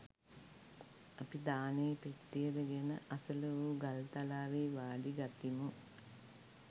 අපි දානේ පෙට්ටිය ද ගෙන අසළ වු ගල් තලාවෙහි වාඩි ගතිමු.